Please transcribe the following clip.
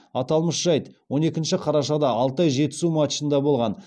аталмыш жайт он екінші қарашада алтай жетісу матчында болған